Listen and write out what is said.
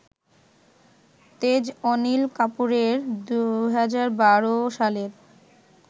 তেজ অনিল কাপুরের ২০১২ সালের